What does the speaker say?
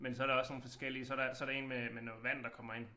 Men så der også nogle forskellige så der så der 1 med med noget vand der kommer ind